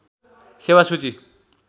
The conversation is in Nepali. सेेवा सूची